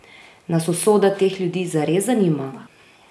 Nas usoda teh ljudi zares zanima?